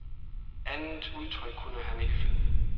Andet udtryk kunne han ikke finde.